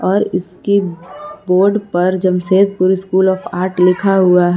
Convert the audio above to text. और इसकी बोर्ड पर जमशेदपुर स्कूल ऑफ़ आर्ट लिखा हुआ है।